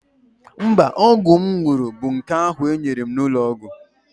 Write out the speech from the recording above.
Mba, ọgwụ m ṅụrụ bụ nke ahụ e nyere m n'ụlọ ọgwụ.